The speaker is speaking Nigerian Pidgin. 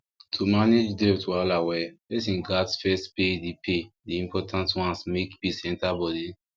to manage debt wahala well person gats first pay the pay the important ones make peace enter body